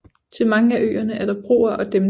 Til mange af øerne er der broer og dæmninger